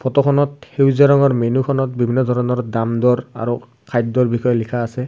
ফটোখনত সেউজীয়া ৰঙৰ মেনুখনত বিভিন্ন ধৰণৰ দামদৰ আৰু খাদ্যৰ বিষয়ে লিখা আছে।